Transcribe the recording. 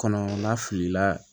Kɔnɔ na fili la